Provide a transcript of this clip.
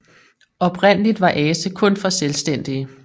Oprindeligt var Ase kun for selvstændige